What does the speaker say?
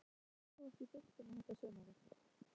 Hvað kom þér mest á óvart í deildinni þetta sumarið?